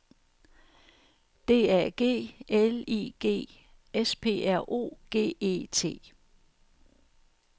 D A G L I G S P R O G E T